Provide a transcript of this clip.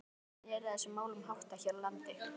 En hvernig er þessum málum háttað hér á landi?